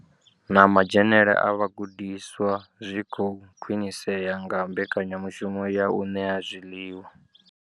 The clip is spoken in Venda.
Na madzhenele a vhagudiswa zwi khou khwinisea nga mbekanyamushumo ya u ṋea zwiḽiwa.